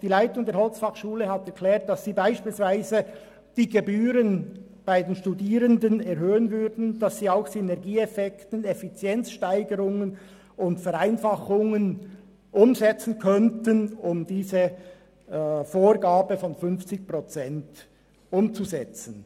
Die Leitung der HF Holz hat erklärt, dass sie beispielsweise die Gebühren für die Studierenden erhöhen würde und dass sie Synergieeffekte und Effizienzsteigerungen sowie Vereinfachungen umsetzen könnte, um diese Vorgabe von 50 Prozent umzusetzen.